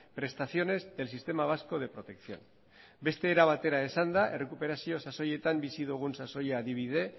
prestaciones del sistema vasco de protección beste era batera esanda errekuperazio sasoietan bizi dugun sasoia adibide